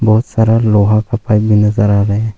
बहुत सारा लोहा का पाइप भी नजर आ रहा है।